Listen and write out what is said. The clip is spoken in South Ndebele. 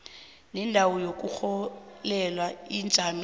nendawo yokurholela ijame